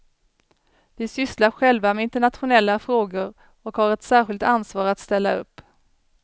Vi sysslar själva med internationella frågor och har ett särskilt ansvar att ställa upp.